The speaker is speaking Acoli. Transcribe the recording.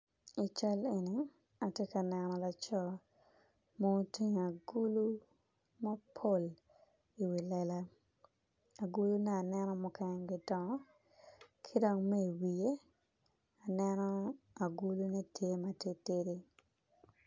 I cal eni atye ka neno laco ma otingo agulu mapol i wi lela agulu ne aneno mukene dongo kidong me i wiye agule ne tye ma titidi.